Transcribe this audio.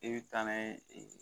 E bi taa n'a ye ɛ